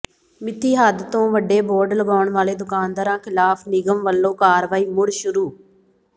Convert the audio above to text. ਮਿੱਥੀ ਹੱਦ ਤੋਂ ਵੱਡੇ ਬੋਰਡ ਲਗਾਉਣ ਵਾਲੇ ਦੁਕਾਨਦਾਰਾਂ ਖਿਲਾਫ਼ ਨਿਗਮ ਵੱਲੋਂ ਕਾਰਵਾਈ ਮੁੜ ਸ਼ੁਰੂ